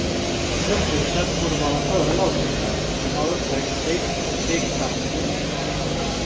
Börsstyrelsen borde vara före lagstiftaren men har uppträtt vekt och fegt fram till nu.